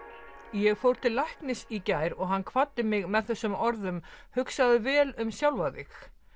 ég fór til læknis í gær og hann kvaddi mig með þessum orðum hugsaðu vel um sjálfa þig